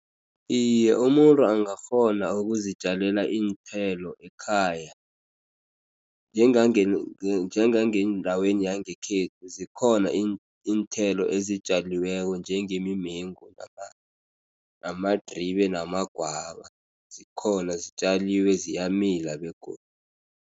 Iye, umuntu angakghona ukuzitjalela iinthelo ekhaya. Njengangendaweni yangekhethu, zikhona iinthelo ezitjaliweko njengemimengu, namadribe, namagwava. Zikhona zitjaliwe, ziyamila begodu.